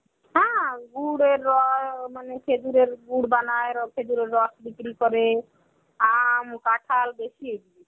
হ্যাঁ, গুড়ের র~ মানে খেজুরের গুড় বানায়, খেজুরের রস বিক্রি করে. আম, কাঠাল বেশী হয়েছে.